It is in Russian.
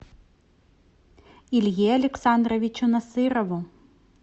илье александровичу насырову